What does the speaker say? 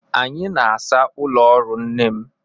Anyị na-asa ụlọ ọrụ nne m.